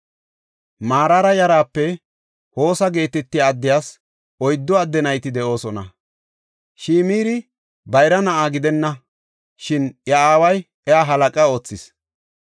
Maraara yaraape Hosa geetetiya addiyas oyddu adde nayti de7oosona. Shimiri bayra na7a gidenna, shin iya aaway iya halaqa oothis.